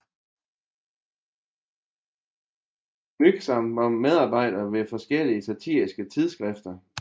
Mühsam var medarbejder ved forskellige satiriske tidskrifter